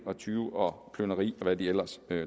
tyveri plyndring og hvad de ellers